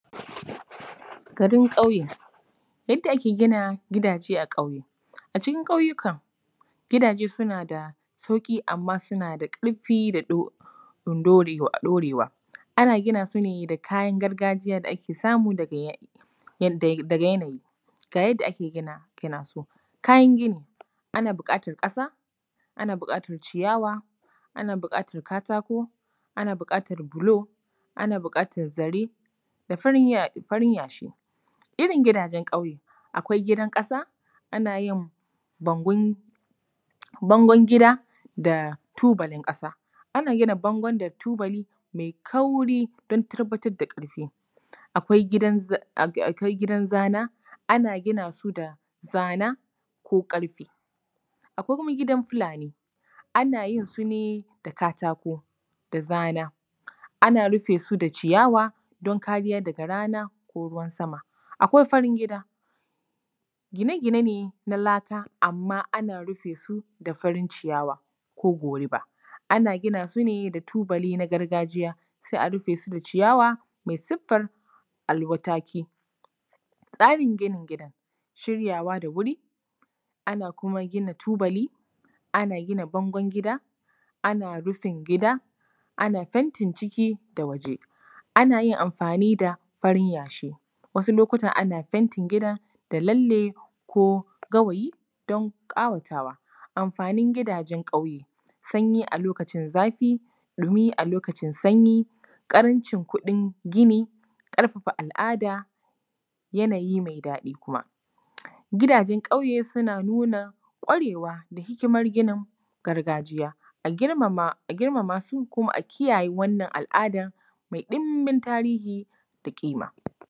Garin ƙauye. Yadda ake gina gidaje a ƙauye. A cikin ƙauyuka, gidaje suna da sauƙi amma suna da ƙarfi da ɗorewa. Ana gina su ne da kayan gargajiya da ake samu daga yanayi. Ga yadda ake gina su: kayan gini:- ana buƙatar ƙasa, ana buƙatar ciyawa, ana buƙatar katako, ana buƙatar bulo, ana buƙatar zare da farin Yashi. Irin gidajen ƙauye: akwai gidan ƙasa, ana yin bangon gida da tubalin ƙasa. Ana gina gidan da tubali mai kauri don tabbatar da ƙarfi. Akwai gidan zana, ana gina su da zana ko ƙarfe. Akwai kuma gidan Fulani, ana yin su ne da katako da zana, ana yin su da ciyawa don kariya daga rana ko ruwan sama. Akwai farin gida. gine gine ne na laka amma ana rufe su da farin ciyawa ko goruba. Ana gina su ne da tubali na gargajiya, sai a rufe su da ciyawa mai siffar alwataki. Tsarin ginin gidan: shiryawa da wuri, ana kuma ginin tubaki, ana gina bangon gida, ana rufin gida, ana fentin ciki da waje, ana yin amfani da farin Yashi, wasu lokutan ana fentin gidan da lalle ko gawayi don ƙawatawa. Amfanin gidajen ƙauye: sanyi a lokacin zafi, ɗumi a lokacin sanyi, ƙarancin kuɗin gini, ƙarfafa al’ada, yanayi mai daɗi kuma. Gidaje ƙauye suna nuna ƙwarewa da hikimar ginin gargajiya. A girmama su kuma a kiyaye wannan al’adan mai ɗumbin tarihi da ƙima.